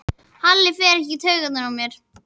Halli fer ekkert í taugarnar á mér.